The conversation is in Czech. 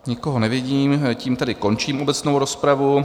Nikoho nevidím, tím tedy končím obecnou rozpravu.